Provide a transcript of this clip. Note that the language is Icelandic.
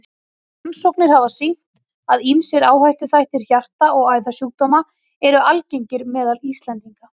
Rannsóknir hafa sýnt, að ýmsir áhættuþættir hjarta- og æðasjúkdóma eru algengir meðal Íslendinga.